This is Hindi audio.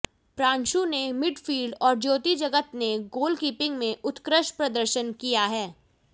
प्रांसु ने मिडफील्ड और ज्योति जगत ने गोलकीपिंग में उत्कृष्ट प्रदर्शन किया है